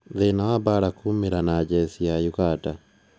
Thĩĩna wa mbaara kumĩra na jesi ya Uganda